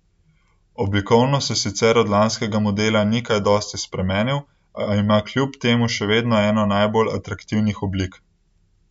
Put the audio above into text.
Oblikovno se sicer od lanskega modela ni kaj dosti spremenil, a ima kljub temu še vedno eno najbolj atraktivnih oblik.